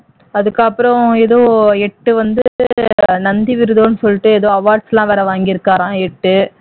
அதுக்கப்புறம் ஏதோ எட்டு வந்து ஏதோ நந்தி வருதுன்னு சொல்லிட்டு ஏதோ awards எல்லாம் வாங்கி இருக்காராம் எட்டு